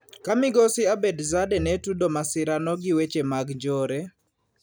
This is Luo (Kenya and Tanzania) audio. Ka migosi Abedzadeh ne tudo masirano gi weche mag njore.